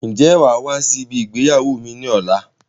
Ń jẹ́ wàá wá sí ibi ìgbéyàwó mi ni ọ̀la?